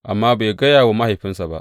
Amma bai gaya wa mahaifinsa ba.